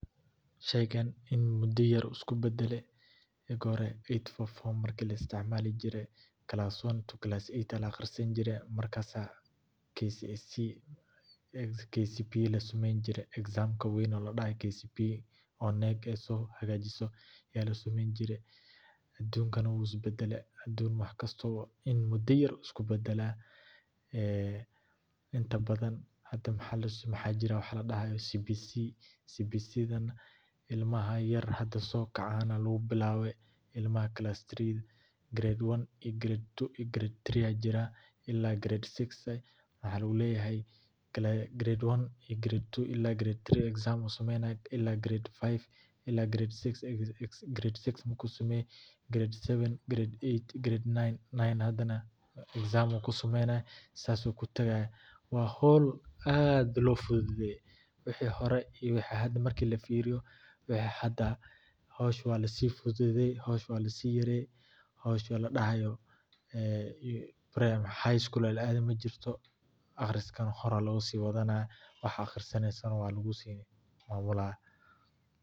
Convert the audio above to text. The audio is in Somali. Sheykan in muda yar ayu isku badala, aka hore ayt forfor la isticmalijira class one to class ayt aya la aqarisani jire, markas kcpe ka samaynijira examka wan ladahay kcpe oo nack so xagajisoh aya la samayni jire, adunkana u isbadale wax kasto baa in muda yar isku badalah, ah inta badan hada maxa jire wax ladahayoh cbc cbc dan ilamaha yar hada sogacan aya lagu bilawa, imaha class three grade one iyo grade two iyo grade three aya jiran ila iyo grade six wax lagu lahay grade one ila iyo grade two eaxm samaynayin ila grade five ila iyo grade six u ku samayi grade seven grade eight grade nine nine hadanah exam ayu ku samayni saas ayu ku tagayah wa xol aad lo fududaya wixi hore hada marki la firiyo wixi hada xosha wa la si fududaya xosha wa la si yaraya xosha ladahayo ah high school laa adayo majirto qariska nah horaya lo siwadanaya wax aqrisanaysoh wa lagu sinaya walah.